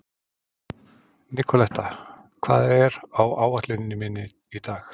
Nikoletta, hvað er á áætluninni minni í dag?